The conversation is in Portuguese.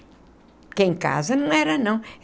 Porque em casa não era, não.